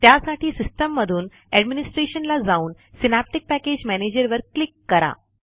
त्यासाठी सिस्टिममधून एडमिनिस्ट्रेशन ला जाऊन सिनॅप्टिक पॅकेज मॅनेजर वर क्लिक करा